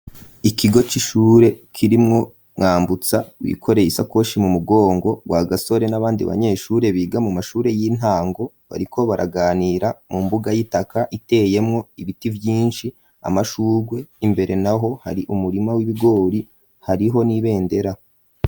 Ikigo c'ishure kirimwo mwambutsa wikoreye isakoshi mu mugongo wa gasore n'abandi banyeshure biga mu mashure y'intango bariko baraganira mu mbuga y'itaka iteyemwo ibiti vyinshi amashurwe imbere na ho hari umurima w'ibigori hariho n'ibendera.